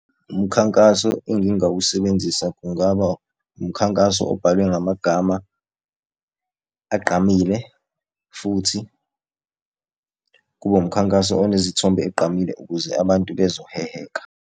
Umkhankaso engingawusebenzisa kungaba umkhankaso obhalwe ngamagama agqamile, futhi kube umkhankaso onezithombe egqamile ukuze abantu bezoheheka.